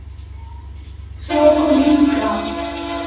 Svo kom Inga.